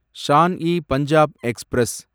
Shawn e Punjab express